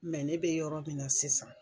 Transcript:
ne be yɔrɔ min na sisan.